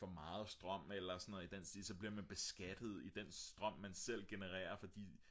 for meget strøm eller sådan noget i den stil så bliver man beskattet i den strøm man selv genererer fordi